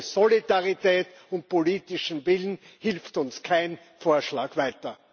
Ohne Solidarität und politischen Willen hilft uns kein Vorschlag weiter.